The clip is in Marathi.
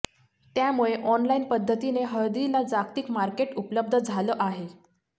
त्यामुळे ऑनलाइन पद्धतीने हळदीला जागतिक मार्केट उपलब्ध झालं आहे